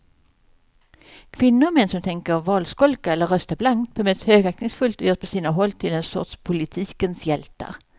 Kvinnor och män som tänker valskolka eller rösta blankt bemöts högaktningsfullt och görs på sina håll till en sorts politikens hjältar.